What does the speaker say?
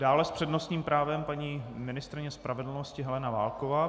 Dále s přednostním právem paní ministryně spravedlnosti Helena Válková.